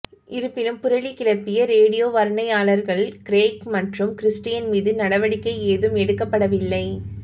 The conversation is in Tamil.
இருப்பினும் புரளி கிளப்பிய ரேடியோ வர்ணனையாளர்கள் கிரெய்க் மற்றும் கிறிஸ்டியன் மீது நடவடிக்கை ஏதும் எடுக்கப்படவில்லை